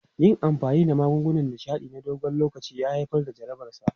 Yin amfani da magungunan nishaɗi na dogon lokaci ya haifar da jarabarsa.